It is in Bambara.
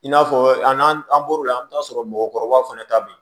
I n'a fɔ an n'an bɔr'o la an bɛ t'a sɔrɔ mɔgɔkɔrɔbaw fana ta bɛ yen